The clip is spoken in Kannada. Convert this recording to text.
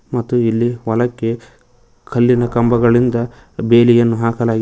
ಮತ್ತು ಇಲ್ಲಿ ಹೊಲಕ್ಕೆ ಕಲ್ಲಿನ ಕಂಬದಿಂದ ಬೇಲಿಯನ್ನು ಹಾಕಲಾಗಿದೆ--